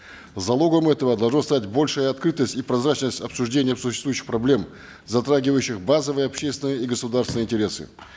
залогом этого должна стать большая открытость и прозрачность обсуждения существующих проблем затрагивающих базовые общественные и государственные интересы